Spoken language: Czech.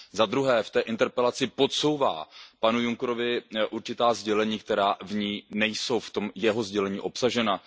Zadruhé v té interpelaci podsouvá panu Junckerovi určitá sdělení, která nejsou v jeho sdělení obsažena.